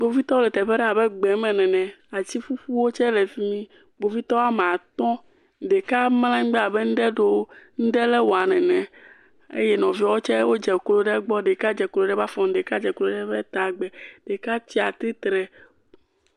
Kpovitɔwo le teƒe aɖe abe gbeme ene, ati ƒuƒuwo tse le fi mi Kpovitɔ woame atɔ̃, ɖeka mlɔ anyigba abe ŋuɖe ɖe wole ewɔm nene eye nɔviewe tse dzeklo ɖe egbɔ, ɖeka dze klo ɖe eƒe afɔ gbɔ, ɖeka dze klo ɖe eƒe ta gbe ɖeka tsi atsitre.